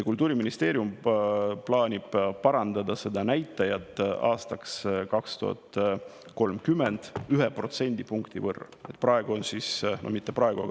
Kultuuriministeerium plaanib seda näitajat aastaks 2030 parandada 1% võrra.